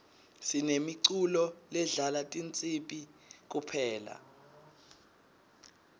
sinemiculo ledlala tinsibi kuphela